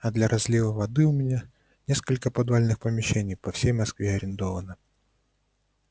а для разлива воды у меня несколько подвальных помещений по всей москве арендовано